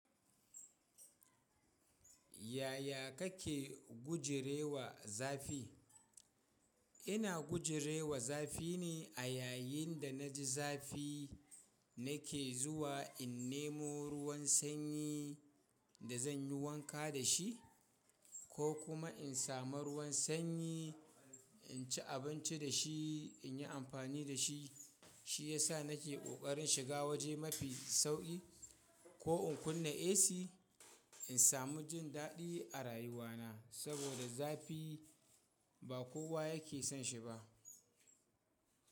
Yaya kake gujirewa zafi? Ina gujerewa zafi ne a yayin da na ji zafi na ke zuwa, in nemo ruwan sanyi da zan yi wanka da shi ko kuma in samu ruwan sanyi, in ci abinci da shi, in yi amfani da shi. Shi ya sa na ke ƙoƙarin shiga waje mafi sauƙi ko in kunna AC, in samu jin daɗi a rayuwana saboda zafi ba kowa yake son shi ba.